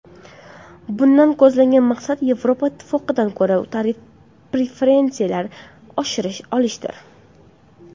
Bundan ko‘zlangan maqsad Yevropa Ittifoqidan ko‘proq tarif preferensiyalari olishdir.